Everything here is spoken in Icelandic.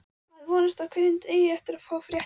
Maður vonast á hverjum degi eftir að fá fréttir.